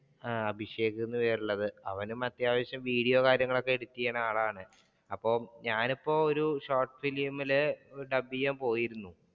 ആഹ് അഭിഷേക് എന്ന് പേരുള്ളത് അവനും അത്യാവശ്യം വിഡിയോയും കാര്യങ്ങളും എഡിറ്റ് ചെയ്യുന്ന ആളാണ് അപ്പൊ ഞാൻ ഇപ്പോ ഒരു short film ഇൽ ഡബ് ചെയ്യാൻ പോയിരുന്നു.